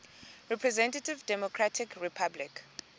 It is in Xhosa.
representative democratic republic